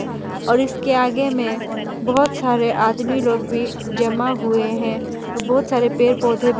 और इसके आगे में बहोत सारे आदमी लोग भी जमा हुए हैं और बहोत सारे पेड़ पौधे भी --